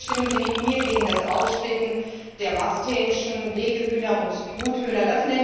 Bitte stimmen Sie mit mir gegen das Aufsplitten in Masthähnchen, Legehühner und Truthühner!